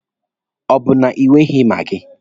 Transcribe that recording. Ọ bụ na ị nweghi maagi?